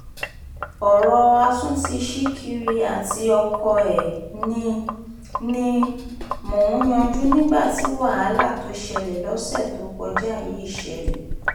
ọ̀rọ̀ àtúntí ṣìkìrì àti ọkọ ẹ̀ ni ni mò ń yanjú nígbà tí wàhálà tó ṣẹlẹ̀ lọ́sẹ̀ tó kọjá yìí ṣẹlẹ̀